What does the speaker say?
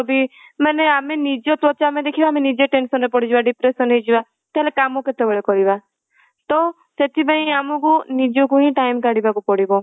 ମାନେ ଆମେ ନିଜ ତ୍ୱଚା ଆମେ ଦେଖିବା ନିଜେ tension ରେ ପଡିଯିବା depression ହେଇଯିବା ତାହାଲେ କାମ କେତେବେଳେ କରିବା ତ ସେଥିପାଇଁ ଆମକୁ ନିଜକୁ ହିଁ time କାଢ଼ିବାକୁ ପଡିବ